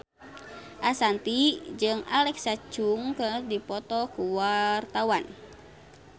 Ashanti jeung Alexa Chung keur dipoto ku wartawan